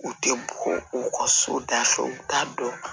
U tɛ bɔ u ka so da fɛ u t'a dɔn